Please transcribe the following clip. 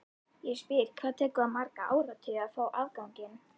Ég spyr, hvað tekur það marga áratugi að fá afganginn?